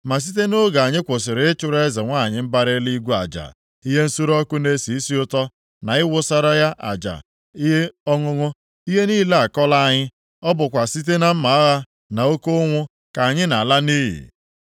Ma site nʼoge anyị kwụsịrị ịchụrụ Eze nwanyị mbara Eluigwe aja, ihe nsure ọkụ na-esi isi ụtọ na ịwụsara ya aja ihe ọṅụṅụ, ihe niile akọla anyị, ọ bụkwa site na mma agha na oke ụnwụ ka anyị na-ala nʼiyi.”